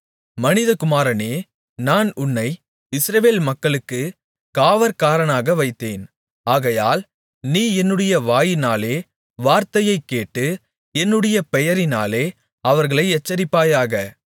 மனிதகுமாரனே நான் உன்னை இஸ்ரவேல் மக்களுக்குக் காவற்காரனாக வைத்தேன் ஆகையால் நீ என்னுடைய வாயினாலே வார்த்தையைக் கேட்டு என்னுடைய பெயரினாலே அவர்களை எச்சரிப்பாயாக